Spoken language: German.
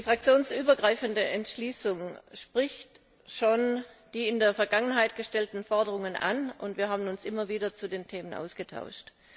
Die fraktionsübergreifende Entschließung spricht schon die in der Vergangenheit gestellten Forderungen an, und wir haben uns immer wieder zu den Themen ausgetauscht.